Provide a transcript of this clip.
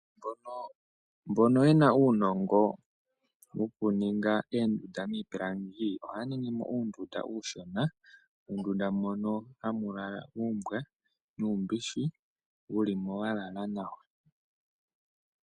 Mbono yena uunongo wokuninga oondunda niipilangi, oha ya ningimo uundunda uushona, uundunda mono hamu lala uumbwa, nuu, bishi, wu li mo walala nawa.